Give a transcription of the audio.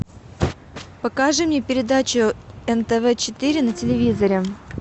покажи мне передачу нтв четыре на телевизоре